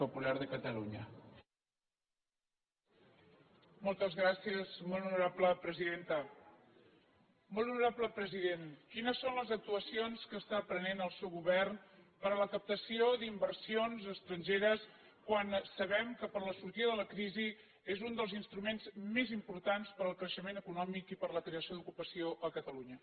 molt honorable president quines són les actuacions que està prenent el seu govern per a la captació d’inversions estrangeres quan sabem que per a la sortida de la crisi és un dels instruments més importants per al creixement econòmic i per a la creació d’ocupació a catalunya